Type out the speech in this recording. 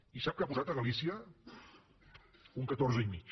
i sap què ha pujat a galícia un catorze i mig